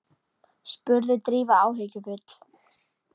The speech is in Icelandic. spurði Drífa áhyggjufull.